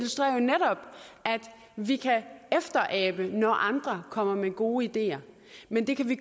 vi kan efterabe når andre kommer med gode ideer men det kan vi